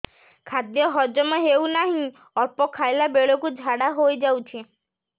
ଖାଦ୍ୟ ହଜମ ହେଉ ନାହିଁ ଅଳ୍ପ ଖାଇଲା ବେଳକୁ ଝାଡ଼ା ହୋଇଯାଉଛି